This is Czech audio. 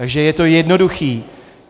Takže je to jednoduché.